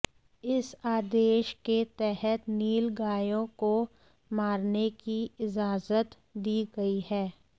इस आदेश के तहत नील गायों को मारने की इजाजत दी गई है